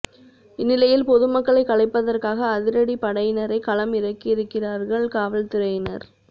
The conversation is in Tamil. இந்நிலையில் பொதுமக்களை கலைப்பதற்காக அதிரடி படையினரை களம் இறங்கியிருக்கிறார்கள் காவல்துறையினர்